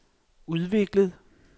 udviklet